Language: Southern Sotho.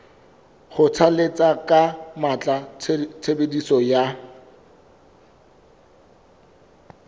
kgothalletsa ka matla tshebediso ya